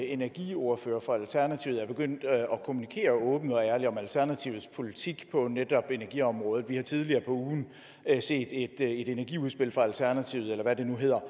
energiordfører for alternativet er begyndt at kommunikere åbent og ærligt om alternativets politik på netop energiområdet vi har også tidligere på ugen set et energiudspil fra alternativet eller hvad det nu hedder